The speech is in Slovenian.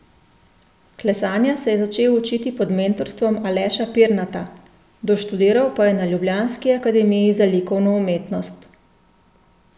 Klesanja se je začel učiti pod mentorstvom Aleša Pirnata, doštudiral pa je na ljubljanski akademiji za likovno umetnost.